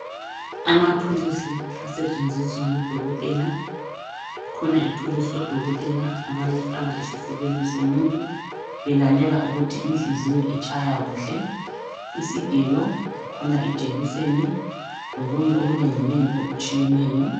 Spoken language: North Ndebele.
Amathulusi asetshenziswa ngudokotela kukhona ithulusi odokotela abayifaka esifubeni somuntu belalela ukuthi inhliziyo itshaya kuhle. Isigelo kukhona ijekiseni lokunye okunenginengi okutshiyeneyo